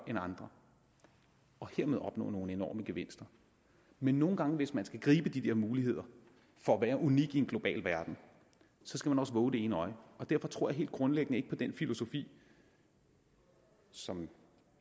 end andre og hermed opnå nogle enorme gevinster men nogle gange hvis man skal gribe de der muligheder for at være unik i en global verden skal man også vove det ene øje og derfor tror jeg helt grundlæggende ikke på den filosofi som